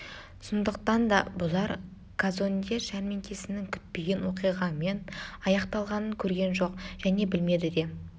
сондықтан да бұлар казонде жәрмеңкесінің күтпеген оқиғамен аяқталғанын көрген жоқ және білмеді де